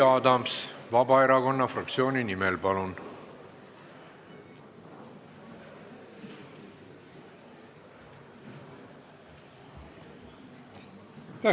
Jüri Adams Vabaerakonna fraktsiooni nimel, palun!